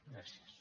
gràcies